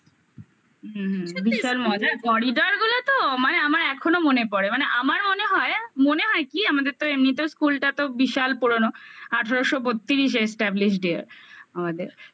হুম হুম বিশাল মজার corridor গুলো তো মানে আমার এখনো মনে পরে আমার মনে হয় মনে হয় কি আমাদের তো এমনিতেও school টা তো বিশাল পুরনো আঠারোশো বত্রিশে established year আমাদের